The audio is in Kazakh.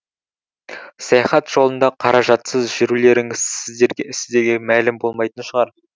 саяхат жолында қаражатсыз жүрулеріңіз сіздерге мәлім болмайтын шығар